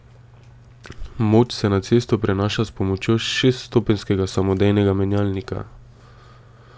Moč se na cesto prenaša s pomočjo šeststopenjskega samodejnega menjalnika.